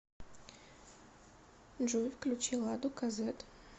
джой включи ладу ка зэт